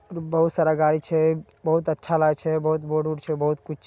बहुत सारा गाड़ी छैय बहुत अच्छा लागे छैय बहुत बोड-उड छै बहुत कुछ--